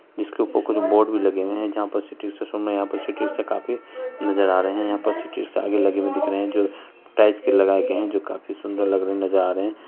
इसके ऊपर कुछ बोर्ड भी लगे हुए हैं जहाँ पर लगे हुए हैं आगे लगे हुए दिख रहे हैं जो प्राइस के लगाए गए हैं जो बहुत सुंदर लग रहे नज़र आ रहे हैं।